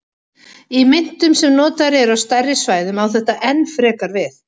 Í myntum sem notaðar eru á stærri svæðum á þetta enn frekar við.